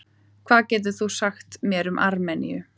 Hvað getur þú sagt mér um Armeníu?